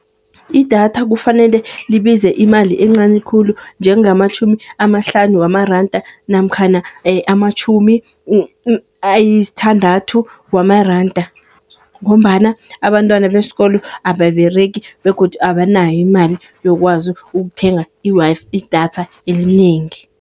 Idatha kufanele libize imali encani khulu, njengamatjhumi amahlanu wamaranda namkhana amatjhumi ayisthandathu wamaranda. Ngombana abantwana beskolo ababeregi begodu abanayo imali yokwazi ukuthenga i-Wi-Fi, idatha elinengi.